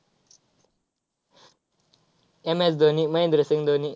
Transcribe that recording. MS Dhoni, Mahendra Singh Dhoni.